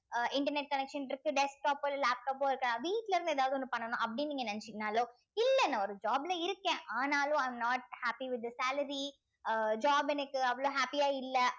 அஹ் internet connection இருக்கு desktop உ laptop இருக்கா வீட்ல இருந்து எதாவது ஒன்னு பண்ணனும் அப்படின்னு நீங்க நினைச்சிங்கனாலோ இல்ல நான் ஒரு job ல இருக்கேன் ஆனாலும் i am not happy with the salary uh job எனக்கு அவ்வளவு happy யா இல்ல